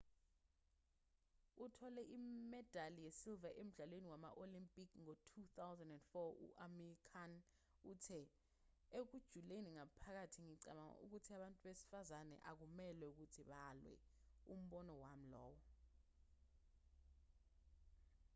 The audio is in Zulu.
othole imedali yesiliva emdlalweni wama-olimpiki ngo-2004 u-amir khan uthe ekujuleni ngaphakathi ngicabanga ukuthi abantu besifazane akumelwe ukuthi balwe umbono wami lowo